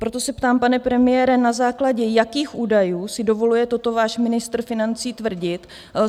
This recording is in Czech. Proto se ptám, pane premiére, na základě jakých údajů si dovoluje toto váš ministr financí tvrdit?